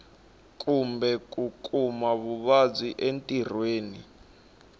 kumbe ku kuma vuvabyi entirhweni